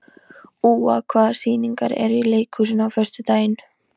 Úa, hvaða sýningar eru í leikhúsinu á föstudaginn?